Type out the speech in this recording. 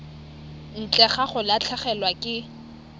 ntle ga go latlhegelwa ke